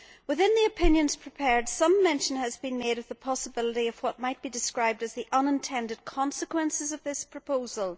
Within the opinions prepared, some mention has been made of the possibility of what might be described as the unintended consequences of this proposal.